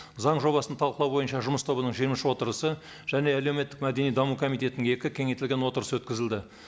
заң жобасын талқылау бойынша жұмыс тобының жиырма үш отырысы және әлеуметтік мәдени даму комитетінің екі кеңейтілген отырысы өткізілді